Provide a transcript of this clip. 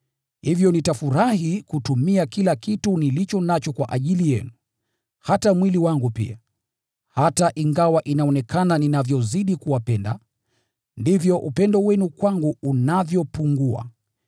Hivyo nitafurahi kutumia kila kitu nilicho nacho kwa ajili yenu, hata mwili wangu pia. Hata ingawa inaonekana ninavyozidi kuwapenda, ndivyo upendo wenu kwangu unavyopungua.